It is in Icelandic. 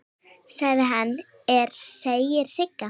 Sem hann er, segir Sigga.